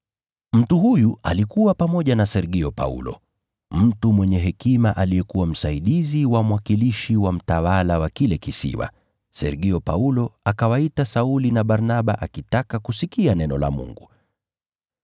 Mtu huyu alikuwa pamoja na Sergio Paulo, mtu mwenye hekima aliyekuwa msaidizi wa mwakilishi wa mtawala wa kile kisiwa. Sergio Paulo akawaita Sauli na Barnaba akitaka kusikia neno la Mungu.